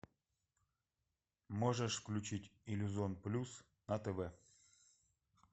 можешь включить иллюзон плюс на тв